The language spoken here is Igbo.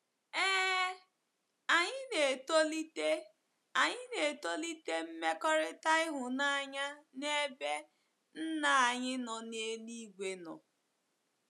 Ee, anyị na-etolite, anyị na-etolite mmekọrịta ịhụnanya n’ebe Nna anyị nọ n'eluigwe nọ.